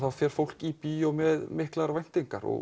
þá fer fólk í bíó með miklar væntingar